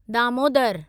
Damodar